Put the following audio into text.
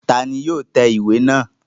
Ta ni yóò tẹ ìwé náà?